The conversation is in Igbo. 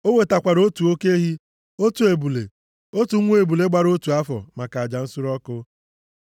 O wetakwara otu oke ehi, otu ebule, otu nwa ebule gbara otu afọ maka aja nsure ọkụ.